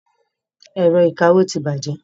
Ẹ̀rọ ìkawó ti bàjẹ́.